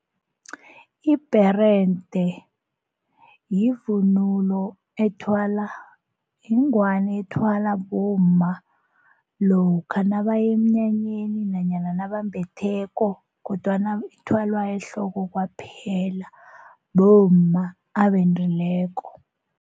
Ibherede yivunulo ethwalwa yingwani ethwalwa bomma lokha nabaya emnyanyeni nanyana nabambetheko kodwana ithwalwa ehloko kwaphela bomma abendileko.